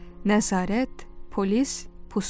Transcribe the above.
Nəzarət, polis, pusqu.